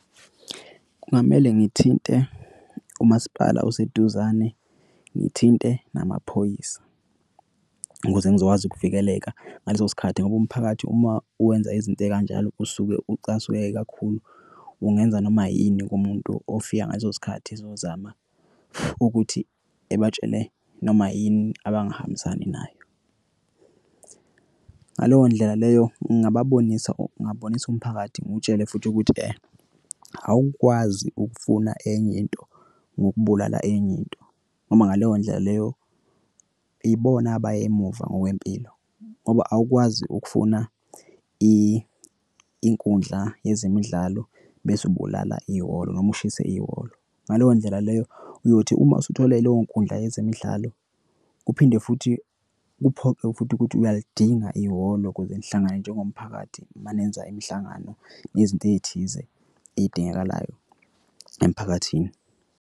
Kungamele ngithinte umasipala oseduzane ngithinte namaphoyisa ukuze ngizokwazi ukuvikeleka ngaleso sikhathi ngoba umphakathi uma wenza izinto ey'kanjalo usuke ucasuke kakhulu. Ungenza noma yini kumuntu ofika ngaleso sikhathi ezozama ukuthi ebatshele noma yini abangahambisani nayo. Ngaleyo ndlela leyo ngingababonisa, ngingabonisa umphakathi ngutshele futhi ukuthi awukwazi ukufuna enye into ngokubulala enye into. Noma ngaleyo ndlela leyo ibona abaya emuva ngokwempilo ngoba awukwazi ukufuna inkundla yezemidlalo bese ubulala ihholo noma ushise ihholo. Ngaleyo ndlela leyo uyothi uma usuthole leyo inkundla yezemidlalo kuphinde futhi kuphoqe futhi ukuthi uyaludinga ihholo ukuze nihlangane njengomphakathi manenza imihlangano nezinto ey'thize ey'dingakalayo emphakathini.